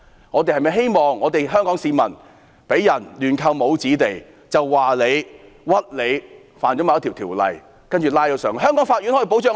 我們是否希望香港市民被亂扣帽子、被誣衊違反某法例，接着被逮捕到內地？